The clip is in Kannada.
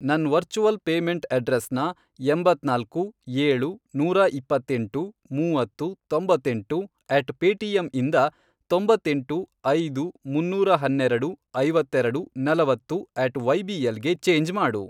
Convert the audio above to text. ನನ್ ವರ್ಚುವಲ್ ಪೇಮೆಂಟ್ ಅಡ್ರೆಸ್ನ, ಎಂಬತ್ನಾಲ್ಕು, ಏಳು, ನೂರಾ ಇಪ್ಪತ್ತೆಂಟು, ಮೂವತ್ತು, ತೊಂಬತ್ತೆಂಟು, ಅಟ್ ಪೇಟಿಎಮ್ ಇಂದ, ತೊಂಬತ್ತೆಂಟು, ಐದು, ಮುನ್ನೂರ ಹನ್ನೆರೆಡು, ಐವತ್ತೆರೆಡು, ನಲವತ್ತು, ಅಟ್ ವೈಬಿಎಲ್ ಗೆ ಚೇಂಜ್ ಮಾಡು.